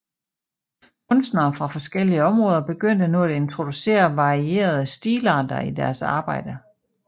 Kunstnere fra forskellige områder begyndte nu at introducere varierede stilarter i deres arbejder